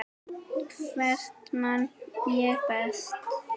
Tvennt man ég best.